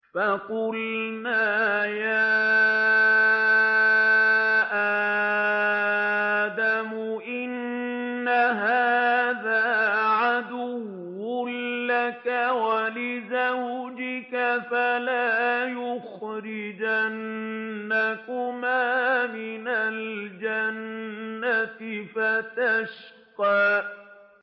فَقُلْنَا يَا آدَمُ إِنَّ هَٰذَا عَدُوٌّ لَّكَ وَلِزَوْجِكَ فَلَا يُخْرِجَنَّكُمَا مِنَ الْجَنَّةِ فَتَشْقَىٰ